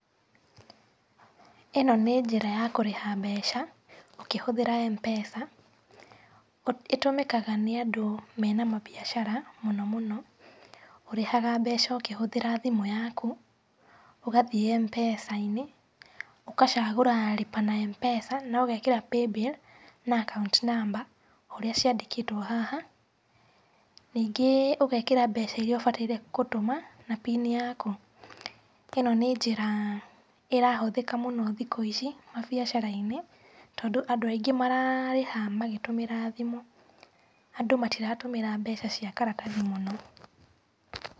Ĩno nĩ njĩra ya kũrĩha mbeca ũkĩhũthĩra Mpesa, ĩtũmĩkaga nĩ andũ mena mambiacara mũno mũno. Ũrĩhaga mbeca ũkĩhũthĩra thimũ yaku, ũgathiĩ Mpesa-inĩ, ũgacagũra lipa na Mpesa na ũgekĩra paybill na akaunti namba ũrĩa ciandĩkĩtwo haha. Ningĩ ũgekĩra mbeca iria ũbataire gũtũma na pini yaku. Ĩno nĩ njĩra ĩrahũthĩka mũno thikũ ici mabiacara-inĩ, tondũ andũ aingĩ mararĩha magĩtũmĩra thimũ. Andũ matiratũmĩra mbeca cia karatathi mũno.